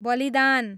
बलिदान